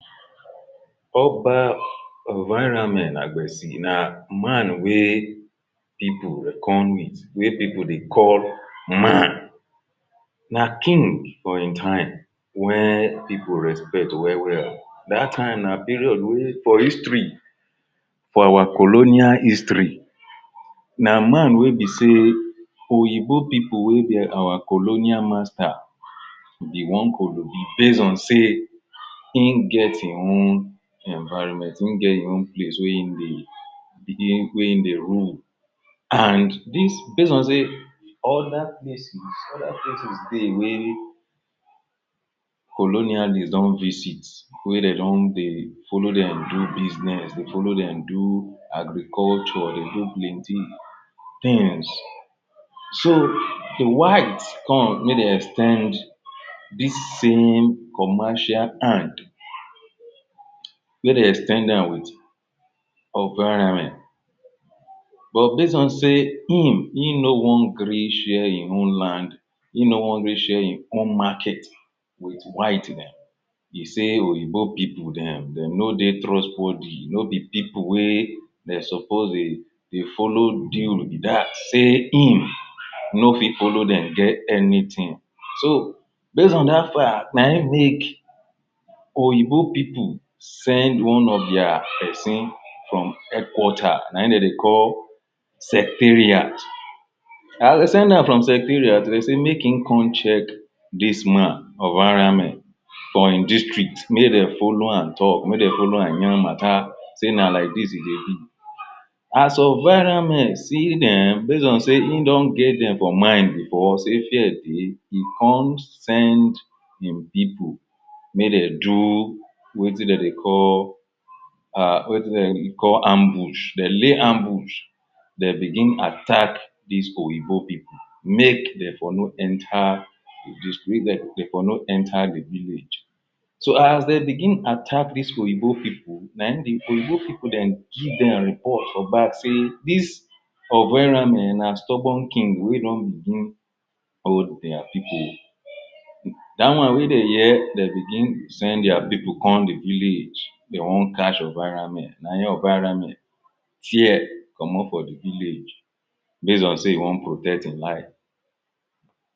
Oba ovarame agbesi na man wey people dey come with wey people de call man! na king for him time wey people respect well-well dat time na period wey for history for our colonial history na man wey be sey oyibo people wey be our colonial master be one kolobi base on sey in get e own enviroment in get e own place wey e be wey in dey we in dey rule and dis base on sey other places, other places dey wey be sey colonialist don visit wey dey don dey folow dem do business, folow dem do agriculture dey do plenty things so the white come mey dey ex ten d dis same commercial hand mey dey ex ten d am with Ovarame but base on sey him e no wan gree share him own land e no wan gree share him own market with white dem e sey oyibo people dem de no dey trust worthy no be people wey de suppose dey folow be dat sey him no fit folow dem get anything so base on dat fact nayin make oyibo people send one of dia person from headquarter nayin de dey call secretariat as de send dam from secretariat, de sey make him come check dis man ovarame for him district make de folow am talk, mey dey folow am yan matter sey na like dis e de be as ovarame see dem, base on sey him don get dem for mind before sey fear dey e come send him people mey de do wetin de dey call um wetin de dey call ambush, de lay ambush de begin attack dis oyibo people make de for no enter de for no enter the village so as de begin attack dis oyibo people nayin the oyibo people de give dem report for back sey dis ovarame na stubborn king wey don begin hold their people da wan wey de hear de begin send dia people come the village de wan catch ovarame nayin ovarame fear comot for the village base on sey e wan protect him life